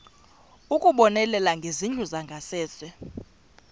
ukubonelela ngezindlu zangasese